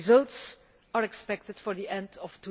The results are expected for the end of